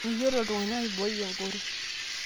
Meyiolo iltunganak aibooi egoro